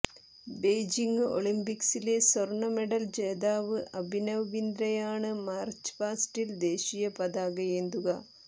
Beijing ഒളിംപിക്സിലെ സ്വർണ medal ജേതാവ് അഭിനവ് ബിന്ദ്രയാണ് മാർച്ച് പാസ്റ്റിൽ ദേശീയ പതാകയേന്തുക